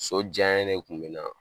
So diya ye de kun be n na.